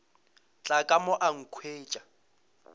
tla ka mo a nkhwetša